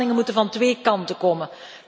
De inspanningen moeten van twee kanten komen.